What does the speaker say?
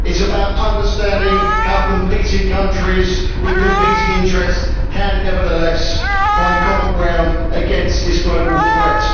it is about understanding how competing countries with competing interests can nevertheless find common ground against this global threat.